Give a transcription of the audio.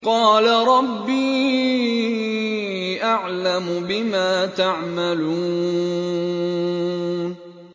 قَالَ رَبِّي أَعْلَمُ بِمَا تَعْمَلُونَ